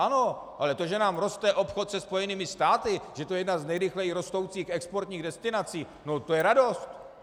Ano, ale to, že nám roste obchod se Spojenými státy, že to je jedna z nejrychleji rostoucích exportních destinací, no to je radost.